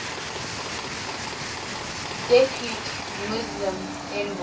depute muslim envoy